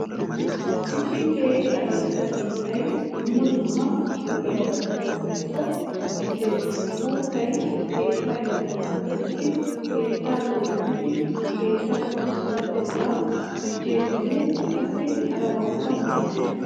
Issi keehi aradda biittayi dumma dumma lo'iyabata tokkikko mokkeesi. Uuttay keettaa yuushuwan tokettidi keettaa dooddidi keettawukka pulatetta gujjeesinne qassi harabawukka maaddees.